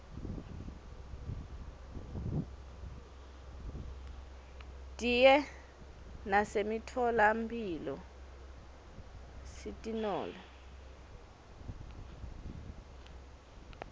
diye nasemitfola mphilo sitinole